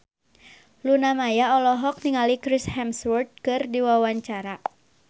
Luna Maya olohok ningali Chris Hemsworth keur diwawancara